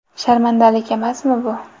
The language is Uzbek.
Sharmandalik emasmi bu?!